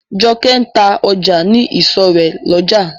Jokẹ́ ń ta ọjà ní ìsọ̀ rè lójà.